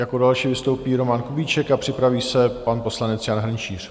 Jako další vystoupí Roman Kubíček a připraví se pan poslanec Jan Hrnčíř.